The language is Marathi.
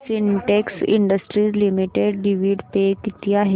Sintex industries limited dividend pay किती आहे